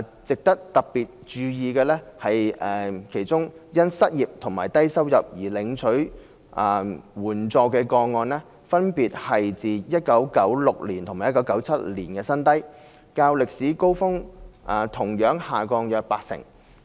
值得特別注意的是，其中因失業和低收入而領取援助的個案分別是自1996年和1997年的新低，較歷史高峰同樣下降約八成。